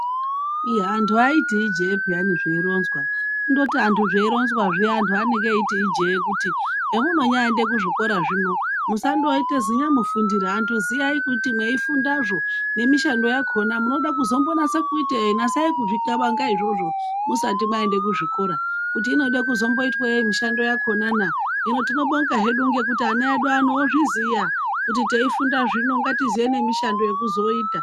Ii antu aiti ijee peyani zveironzwa. Kundoti antu zveironzwa zviya antu anenge eiti ijee kuti hemunonyaaende kuzvikora zvino. Musandoite zinyamufundira antu ziyani kuti mweifundazvo nemishando yakona munoda kuzombonase kuitei nasai kuzvixabanga izvozvo musati mwaende kuzvikora kuti inode kuzomboitwe yei mushando yakonana. Hino tinobonga hedu ngekuti ana edu ano ozviziya kuti teifunda zvino ngatiziye nemishando yekuzooita.